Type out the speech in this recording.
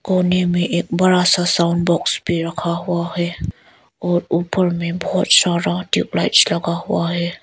कोने में एक बड़ा सा साउण्ड बॉक्स भी रखा हुआ है और ऊपर में बहोत सारा ट्यूबलाइट्स लगा हुआ है।